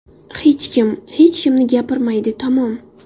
Hech kim, hech kimni gapirmaydi, tamom.